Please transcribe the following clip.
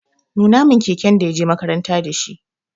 Nuna min keken da ya je makaranta da shi!